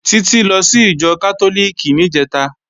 Títí lọ sí ìjọ Kátólíìkì níjẹ̀ta